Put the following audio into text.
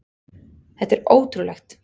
Þetta er ótrúlegt!